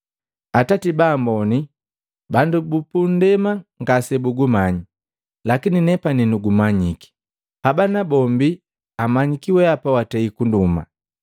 Atati ba amboni, bandu bupundema ngase bugumanyi, lakini nepani nugumanyiki. Haba nabombi amanyiki wehapa watei kunduma.